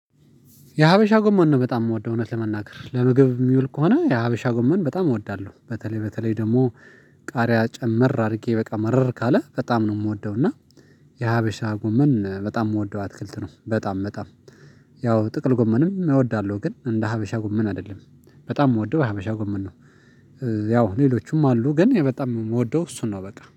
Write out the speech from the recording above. የሀበሻ ጎመን ነው በጣም የምወደው እውነት ለመናገር ለምግብ የሚውል ከሆነ የሀበሻ ጎመን በጣም እወዳለሁ በተለይ በተለይ ደግሞ ቃሪያ ጨመር አድርጌ በቃ መረር ካለ በጣም ነው የምወደው። እና የሀበሻ ጎመን በጣም የምወደው አትክልት ነው። በጣም በጣም ያው ጥቅል ጎመንም እወዳለሁ ግን እንደ ሀበሻ ጎመን አይደለም በጣም የምወደው ሀበሻ ጉምን ነው። ያው ሌሎቹም አሉ ግን በጣም የምወደው እሱን ነው በቃ